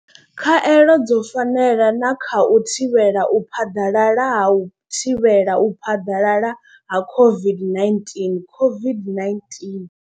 Khaelo dzo fanela na kha u thivhela u phaḓalala ha u thivhela u phaḓalala ha COVID-19 COVID-19.